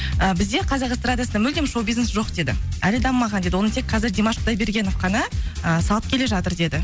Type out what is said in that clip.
і бізде қазақ эстрадасында мүлдем шоу бизнес жоқ деді әлі дамымаған деді оны тек қазір димаш құдайбергенов қана ы салып келе жатыр деді